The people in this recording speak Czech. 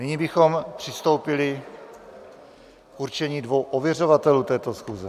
Nyní bychom přistoupili k určení dvou ověřovatelů této schůze.